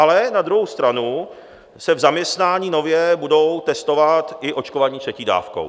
Ale na druhou stranu se v zaměstnání nově budou testovat i očkovaní třetí dávkou.